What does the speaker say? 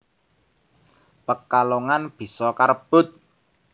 Pekalongan bisa karebut